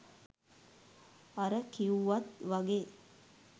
අර කිවුවත් වගේ